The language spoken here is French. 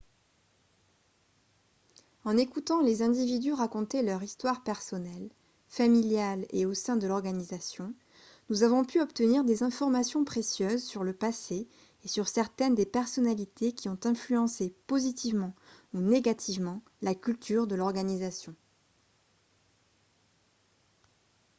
en écoutant les individus raconter leur histoire personnelle familiale et au sein de l'organisation nous avons pu obtenir des informations précieuses sur le passé et sur certaines des personnalités qui ont influencé positivement ou négativement la culture de l'organisation